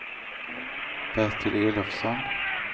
Bertil Elofsson